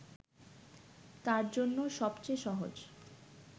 তার জন্য সবচেয়ে সহজ